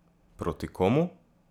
Proti komu?